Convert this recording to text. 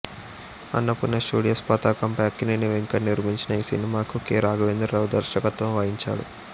Annapurna studios పతాకంపై అక్కినేని వెంకట్ నిర్మించిన ఈ సినిమాకు కె రాఘవేంద్రరావు దర్శకత్వం వహించాడు